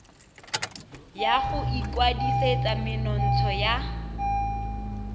ya go ikwadisetsa menontsha ya